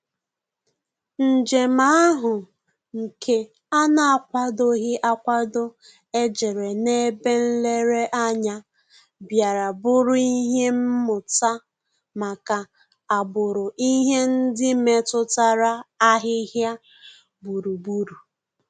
Njèm áhụ́ nke á nà-ákwàdòghị́ ákwádò éjérè n’ébè nlèrèànyà, bìàrà bụ́rụ́ ìhè mmụ́tà màkà àgbụ̀rụ̀ ìhè ndị́ métụ́tàrà àhị́hị́à gbúrù-gbúrù.